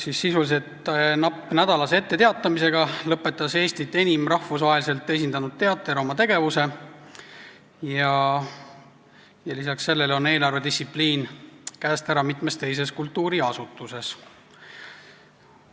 Sisuliselt napilt nädalase etteteatamisega lõpetas Eestit enim rahvusvaheliselt esindanud teater oma tegevuse ja lisaks sellele on eelarvedistsipliin käest ära mitmes teises kultuuriasutuses.